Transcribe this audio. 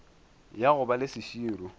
ya go ba le seširo